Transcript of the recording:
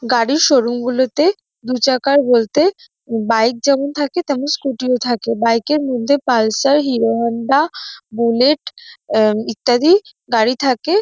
গাড়ির শোরুম গুলিতে দু চাকার বলতে বাইক যেমন থাকে তেমনি স্কুটি -ও থাকে। বাইক -এর মধ্যে পালসার হিরো হোন্ডা বুলেট ইত্যাদি গাড়ি থাকে।